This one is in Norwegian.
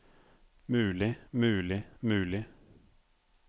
mulig mulig mulig